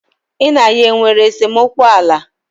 Ị na ya nwere esemokwu ala?